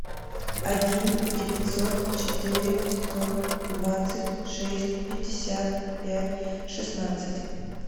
один девятьсот четыре сто двадцать шесть пятьдесят пять шестнадцать